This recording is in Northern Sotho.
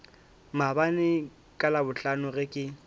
maabane ka labohlano ge ke